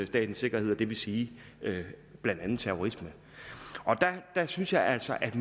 statens sikkerhed og det vil sige blandt andet terrorisme der synes jeg altså at